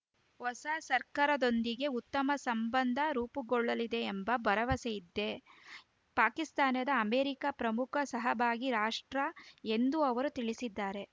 ಹೊಸ ಸರ್ಕಾರದೊಂದಿಗೆ ಉತ್ತಮ ಸಂಬಂಧ ರೂಪುಗೊಳ್ಳಲಿದೆ ಎಂಭ ಭರವಸೆಯಿತೇ ಪಾಕಿಸ್ತಾನ ಅಮೆರಿಕ ಪ್ರಮುಖ ಸಹಭಾಗಿ ರಾಷ್ಟ್ರ ಎಂದೂ ಅವರು ತಿಳಿಸಿದ್ದಾರೆ